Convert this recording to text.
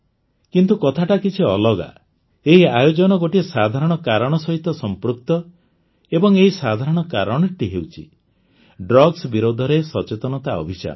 କିନ୍ତୁ କଥାଟା କିଛି ଅଲଗା ଏହି ଆୟୋଜନ ଗୋଟିଏ ସାଧାରଣ କାରଣ ସହିତ ସଂପୃକ୍ତ ଏବଂ ଏହି ସାଧାରଣ କାରଣଟି ହେଉଛି ଡ୍ରଗ୍ସ ବିରୋଧରେ ସଚେତନତା ଅଭିଯାନ